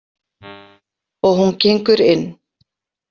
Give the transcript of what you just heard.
Og hún gengur inn.